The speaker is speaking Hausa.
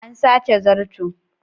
An sace zarto.